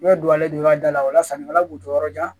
don yɔrɔ dala o la sannikɛla kun tɔ yɔrɔ jan